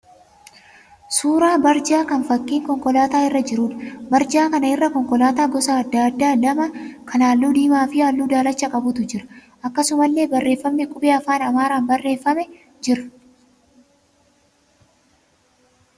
Suuraa barjaa kan fakkiin konkolaataa irra jiruudha. Barjaa kana irra konkolaataa gosa adda addaa lama kan halluu diimaa fi halluu daalachaa qabutu jira. Akkasumallee barreeffamni qubee afaan Amaaraan barreeffamee jira.